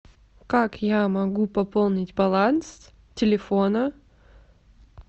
как я могу пополнить баланс телефона